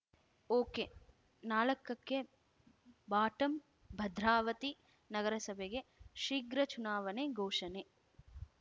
okay ನಾಲಕಕ್ಕೆ ಬಾಟಂಭದ್ರಾವತಿ ನಗರಸಭೆಗೆ ಶೀಘ್ರ ಚುನಾವಣೆ ಘೋಷಣೆ